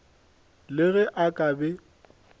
le ge a ka be